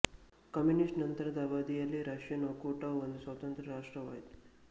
communist ನಂತರದ ಅವಧಿ ಯಲ್ಲಿ ರಷ್ಯನ್ ಒಕ್ಕೂಟವು ಒಂದು ಸ್ವತಂತ್ರ ರಾಷ್ಟ್ರವಾಯಿತು